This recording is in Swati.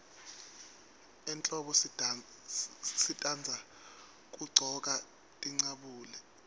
ehlombo sitandza kuggcoka tincabule